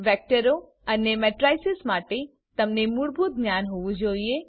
વેક્ટરો અને મેટ્રીસીસ માટે તમને મૂળભૂત જ્ઞાન હોવું જોઈએ